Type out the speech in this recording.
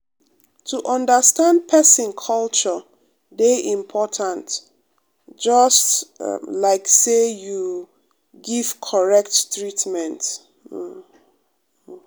to understand pesin culture dey important just um like say you um give correct treatment. um um